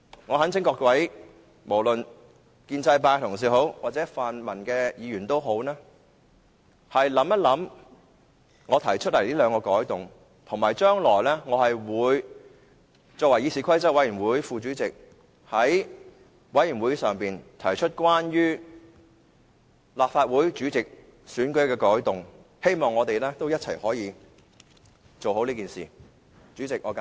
我懇請各位建制派同事或泛民同事考慮一下我提出的兩項修訂建議，而且我作為議事規則委員會副主席，將來會在委員會上提出關於立法會主席選舉的改動，希望大家可以一起做好這件事。